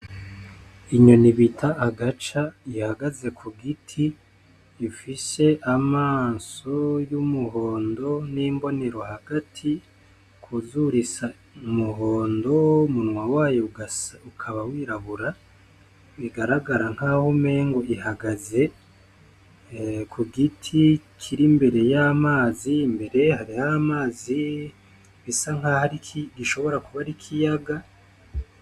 Inyoni bita agaca ihagaze ku giti ifise amaso y'umuhondo n'imbonero hagati kuzuru isa umuhondo, umunwa wayo ukaba wirabura, bigaragara nk'aho umengo ihagaze ku giti kir'imbere y'amazi mbere hariho amazi bisa nk'aho gishobora kuba ar'ikiyaga.